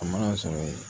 A mana sɔrɔ ye